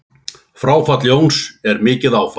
Fráfall Jóns er mikið áfall.